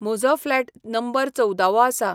म्हजो flat number चोवदावो आसा.